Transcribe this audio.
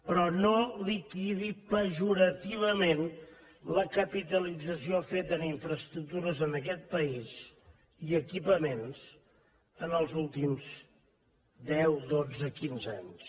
però no liquidi pejorativament la capitalització feta en infraestructures en aquest país i equipaments en els últims deu dotze quinze anys